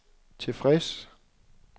tilfreds